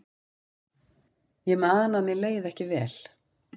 Ég man að mér leið ekki vel.